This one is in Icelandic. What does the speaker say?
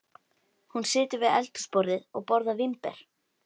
Hún situr við eldhúsborðið og borðar vínber.